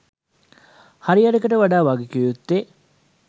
හරි අඩකට වඩා වගකිවයුත්තේ